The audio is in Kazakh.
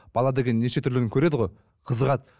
бала деген неше түрліні көреді ғой қызығады